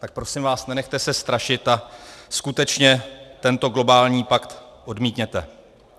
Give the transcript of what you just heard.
Tak prosím vás, nenechte se strašit a skutečně tento globální pakt odmítněte.